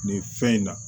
Nin fɛn in na